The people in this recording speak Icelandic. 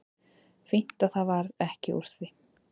Fínt að það varð ekki úr því.